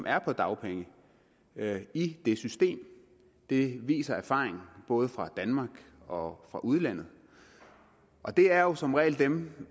er på dagpenge i det system det viser erfaringen både fra danmark og fra udlandet og det er som regel dem